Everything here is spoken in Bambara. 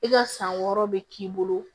I ka san wɔɔrɔ bɛ k'i bolo